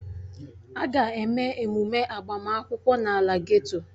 A ga-eme emume agbamakwụkwọ n'ala geto